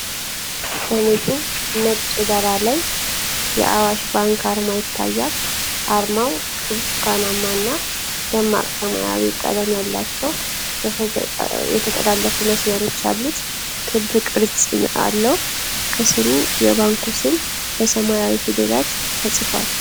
በንጹሕ ነጭ ዳራ ላይ የአዋሽ ባንክ አርማ ይታያል። አርማው ብርቱካናማ እና ደማቅ ሰማያዊ ቀለም ያላቸው የተጠላለፉ መስመሮች ያሉት ክብ ቅርጽ አለው። ከስር የባንኩ ስም በሰማያዊ ፊደላት ተጽፏል።